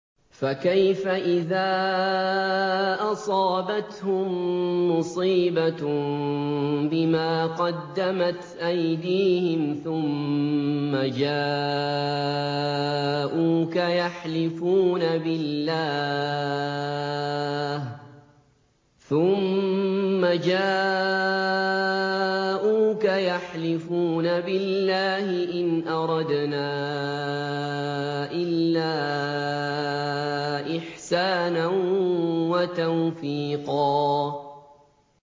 فَكَيْفَ إِذَا أَصَابَتْهُم مُّصِيبَةٌ بِمَا قَدَّمَتْ أَيْدِيهِمْ ثُمَّ جَاءُوكَ يَحْلِفُونَ بِاللَّهِ إِنْ أَرَدْنَا إِلَّا إِحْسَانًا وَتَوْفِيقًا